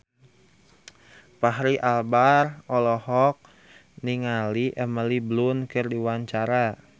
Fachri Albar olohok ningali Emily Blunt keur diwawancara